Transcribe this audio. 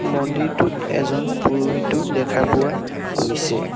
মন্দিৰটোত এজন পুৰোহিতো দেখা পোৱা গৈছে।